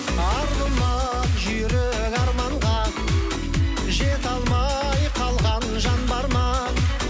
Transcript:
арғымақ жүйрік арманға жете алмай қалған жан бар ма